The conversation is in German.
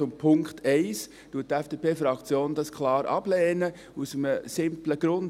Den Punkt 1 lehnt die FDP-Fraktion klar ab, aus einem simplen Grund.